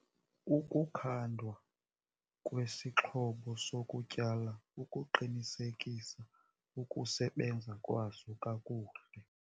Ukukhandwa kwesixhobo sokutyala ukuqinisekisa ukusebenza kwaso kakuhle.